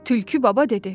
Tülkü baba dedi.